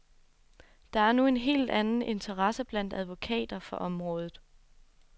Der er nu en helt anden interesse blandt advokater for området.